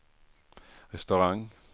restaurang